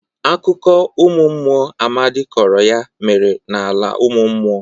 Akụkọ ụmụ mmụọ Amadị kọrọ ya mere n'ala ụmụ mmụọ.